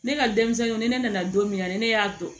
Ne ka denmisɛnninw ni ne nana don min na ne ne y'a dɔn